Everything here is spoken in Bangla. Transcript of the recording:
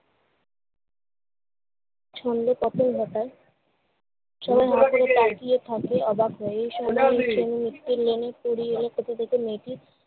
ছন্দপতন ঘটায়। সবাই হা করে তাকিয়ে থাকে অবাক হয়ে। এই সময় রিকসা নিয়ে এলেন মেয়েটির